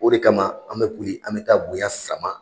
O de kama, an bɛ boli ,an bɛ taa bonya sama.